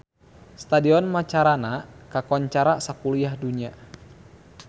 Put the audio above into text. Stadion Macarana kakoncara sakuliah dunya